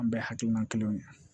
An bɛɛ hakilina kelenw ye